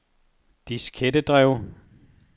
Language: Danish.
diskettedrev